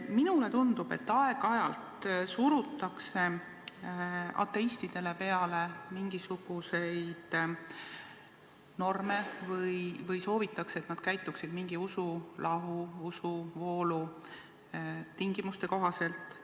Minule tundub, et aeg-ajalt surutakse ateistidele peale mingisuguseid norme või soovitakse, et nad käituksid mingi usulahu või usuvoolu tingimuste kohaselt.